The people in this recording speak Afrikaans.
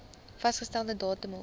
vasgestelde datum hof